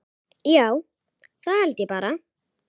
Já, það held ég bara.